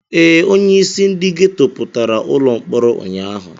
Ee, onyeisi ndị geto pụtara ụlọ mkpọrọ ụnyaahụ.